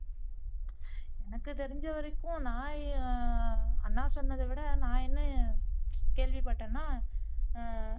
எனக்கு தெரிஞ்ச வரைக்கும் நான் என் அண்ணா சொன்னதை விட நான் என்ன கேள்விபட்டேன்னா ஆஹ்